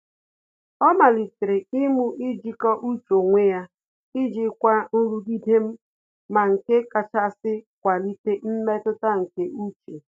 Ọ́ màlị́tèrè imu ijíkọ́ọ́ úchè onwe ya iji jikwa nrugide ma nke kàchàsị́ kwalite mmetụta nke úchè.